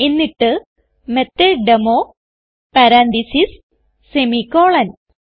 എന്നിട്ട് മെത്തോട്ടേമോ parenthesis semicolon